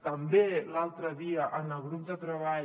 també l’altre dia en el grup de treball